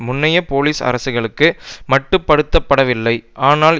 முன்னைய போலிஸ் அரசுகளுக்கு மட்டுப்படுத்தப்படவில்லை ஆனால்